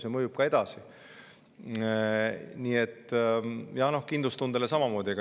See mõjub ka ja kindlustundele samamoodi.